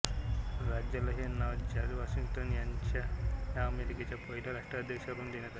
राज्याला हे नाव जॉर्ज वॉशिंग्टन ह्या अमेरिकेच्या पहिल्या राष्ट्राध्यक्षावरून देण्यात आले